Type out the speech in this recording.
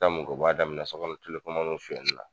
taa mun kɛ u b'a daminɛ sokɔnɔ sonyanni na.